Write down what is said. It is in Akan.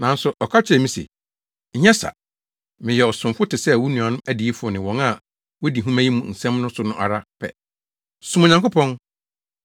Nanso ɔka kyerɛɛ me se, “Nyɛ saa! Meyɛ ɔsomfo te sɛ wo nuanom adiyifo ne wɔn a wodi nhoma yi mu nsɛm no so no ara pɛ. Som Onyankopɔn!”